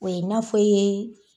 O ye n'afɔ i ye